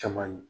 Caman ye